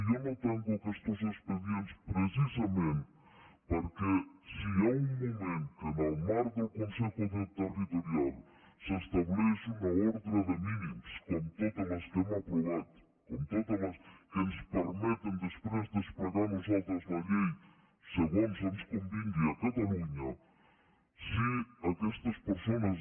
jo no tanco aquestos expedients precisament perquè si hi ha un moment en què en el marc del consejo territorial s’estableix una ordre de mínims com totes les que hem aprovat com totes les que ens permeten després desplegar a nosaltres la llei segons ens convingui a catalunya si aquestes persones